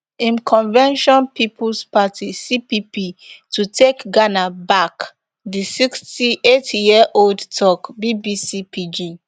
im convention peoples party cpp to take ghana back di sixty-eightyearold tok bbc pidgin